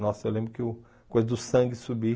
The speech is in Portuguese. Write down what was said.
Nossa, eu lembro que o coisa do sangue subir.